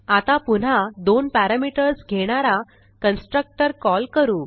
आता पुन्हा दोन पॅरामीटर्स घेणारा कन्स्ट्रक्टर कॉल करू